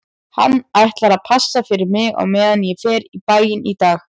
Hann ætlar að passa fyrir mig á meðan ég fer í bæinn í dag